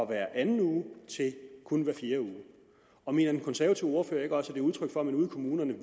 hver anden uge til kun hver fjerde uge og mener den konservative ordfører ikke også det er udtryk for at man ude i kommunerne